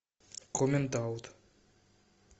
коммент аут